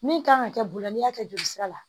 Min kan ka kɛ bolo la n'i y'a kɛ joli sira la